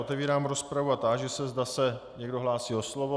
Otevírám rozpravu a táži se, zda se někdo hlásí o slovo.